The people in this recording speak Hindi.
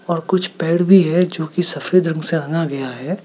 और कुछ पेड़ भी हैं जो कि सफेद रंग से रंगा गया है।